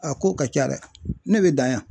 A ko ka ca dɛ. Ne be dan yan.